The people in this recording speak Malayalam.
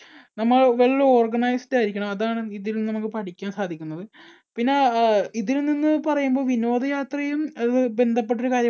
നമ്മൾ well organized ആയിരിക്കണം. അതാണ് നമുക്ക് ഇതിൽ നിന്നും നമുക്ക് പഠിക്കാൻ സാധിക്കുന്നത്. പിന്നെ അഹ് ഇതിൽനിന്ന് പറയുമ്പോൾ വിനോദയാത്രയും ബന്ധപ്പെട്ട ഒരു കാര്യമാണ്